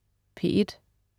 P1: